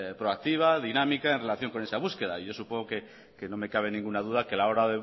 proactiva dinámica en relación con esa búsqueda y yo supongo que no me cabe ninguna duda que a la hora